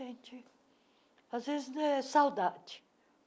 Às vezes é saudade.